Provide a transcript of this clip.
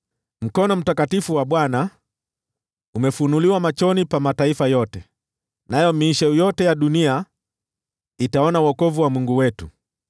Mkono mtakatifu wa Bwana umefunuliwa machoni pa mataifa yote, nayo miisho yote ya dunia itaona wokovu wa Mungu wetu.